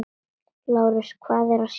LÁRUS: Hvað er að sjá?